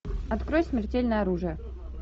открой смертельное оружие